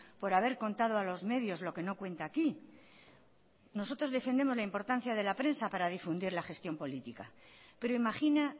por haber contado a los medios lo que no cuenta aquí nosotros defendemos la importancia de la prensa para difundir la gestión política pero imagina